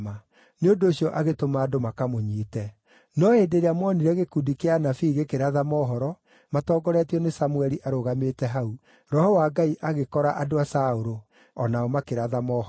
nĩ ũndũ ũcio agĩtũma andũ makamũnyiite. No hĩndĩ ĩrĩa moonire gĩkundi kĩa anabii gĩkĩratha mohoro, matongoretio nĩ Samũeli arũgamĩte hau, Roho wa Ngai agĩkora andũ a Saũlũ, o nao makĩratha mohoro.